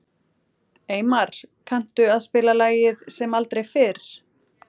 Eymar, kanntu að spila lagið „Sem aldrei fyrr“?